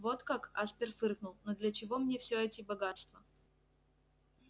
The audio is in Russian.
вот как аспер фыркнул но для чего мне все эти богатства